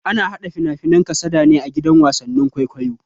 Ana hada fina-finan kasada a gidan wasan kwaikwayo.